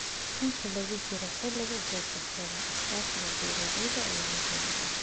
Inta lagu jiro xilliga goosashada, iskaashiga beeralayda ayaa muhiim ah.